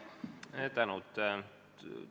Suur tänu!